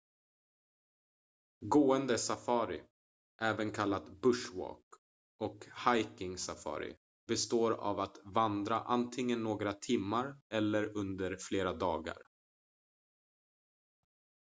"gående safari även kallat "bush walk" och "hiking safari" består av att vandra antingen några timmar eller under flera dagar.